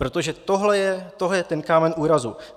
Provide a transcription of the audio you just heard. Protože tohle je ten kámen úrazu.